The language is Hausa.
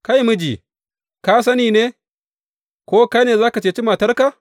Kai miji, ka sani ne, ko kai ne za ka ceci matarka?